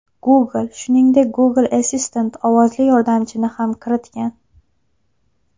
Google, shuningdek, Google Assistant ovozli yordamchini ham kiritgan.